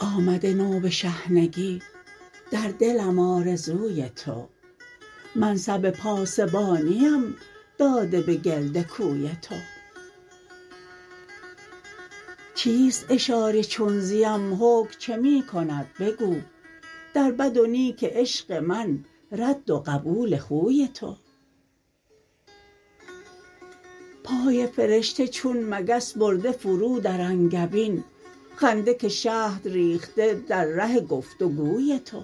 آمده نو به شحنگی در دلم آرزوی تو منصب پاسبانیم داده به گرد کوی تو چیست اشاره چون زیم حکم چه می کند بگو در بد و نیک عشق من رد و قبول خوی تو پای فرشته چون مگس برده فرو در انگبین خنده که شهد ریخته در ره گفت وگوی تو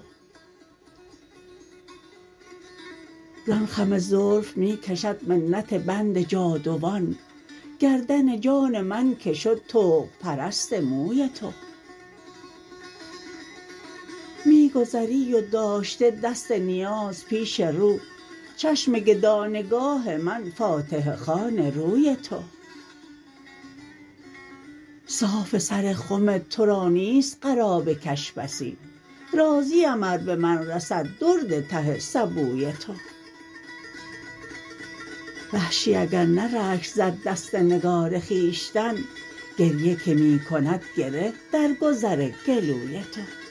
زان خم زلف می کشد منت بند جادوان گردن جان من که شد طوق پرست موی تو می گذری و داشته دست نیاز پیش رو چشم گدا نگاه من فاتحه خوان روی تو صاف سر خم ترا نیست قرابه کش بسی راضیم ار به من رسد درد ته سبوی تو وحشی اگر نه رشک زد دست نگار خویشتن گریه که می کند گره در گذر گلوی تو